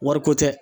Wariko tɛ